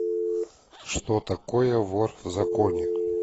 что такое вор в законе